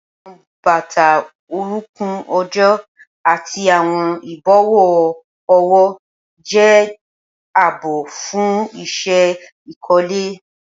Awọn bata orunkun ojo ati awọn ibọwọ ọwọ jẹ jia aabo fun iṣẹ ikole.